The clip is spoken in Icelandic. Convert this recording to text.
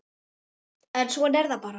En svona er það bara.